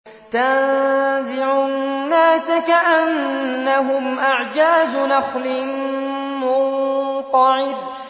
تَنزِعُ النَّاسَ كَأَنَّهُمْ أَعْجَازُ نَخْلٍ مُّنقَعِرٍ